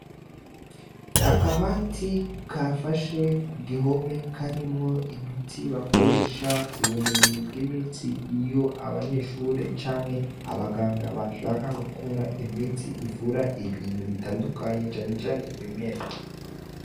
Akabati kafashe ku gihome karimwo imiti bakoresha ku bumenyi bw' imiti iyo abanyeshure canke abaganga bashaka gukora imiti ivura ibintu bitandukanye cane cane ibimera.